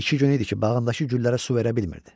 İki gün idi ki, bağındakı güllərə su verə bilmirdi.